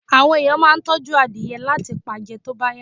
Àwọn ẹ̀yàn máa ń tọ́jú adìẹ láti pa jẹ tó bá yá.